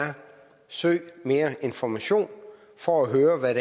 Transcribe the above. søg mere information for at høre hvad